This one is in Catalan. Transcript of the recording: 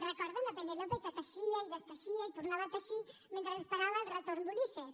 recorden la penélope que teixia i desteixia i tornava a teixir mentre esperava el retorn d’ulisses